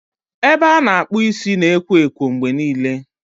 Ebe a na-akpụ isi na ekwo ekwo mgbe niile.